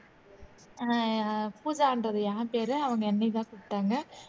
அஹ் பூஜான்றது யார் பேரு அவங்க என்னையதான் கூப்பிட்டாங்க